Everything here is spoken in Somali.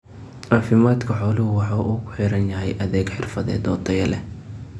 Caafimaadka xooluhu waxa uu ku xidhan yahay adeeg xirfadeed oo tayo leh.